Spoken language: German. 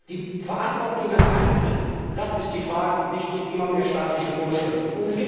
Die Verantwortung des Einzelnen, das ist die Lösung, und nicht immer mehr staatliche Vorschriften.